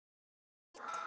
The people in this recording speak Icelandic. Hún var ísköld.